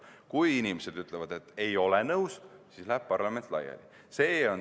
Kui inimesed ütlevad, et nad ei ole nõus, siis läheb parlament laiali.